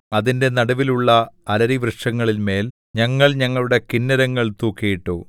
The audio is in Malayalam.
അതിന്റെ നടുവിലുള്ള അലരിവൃക്ഷങ്ങളിന്മേൽ ഞങ്ങൾ ഞങ്ങളുടെ കിന്നരങ്ങൾ തൂക്കിയിട്ടു